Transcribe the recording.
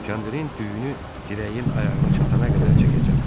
Kəndirin düyünü dirəyin ayağına çatana qədər çəkəcəm.